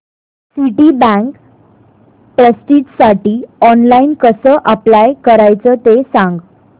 Citibank प्रेस्टिजसाठी online कसं apply करायचं ते सांग